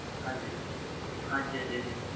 ਹਾਜੀ ਹਾਜੀ